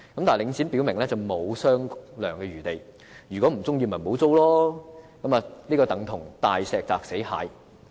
但領展表明沒有商量餘地，如果不喜歡便不要續租，等同"大石砸死蟹"。